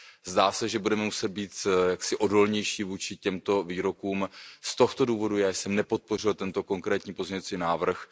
Zdá se, že budeme muset být jaksi odolnější vůči těmto výrokům, z tohoto důvodu já jsem nepodpořil tento konkrétní pozměňovací návrh.